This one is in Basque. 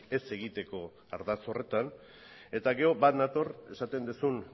ez egiteko ardatz horretan eta gero bat nator esaten duzun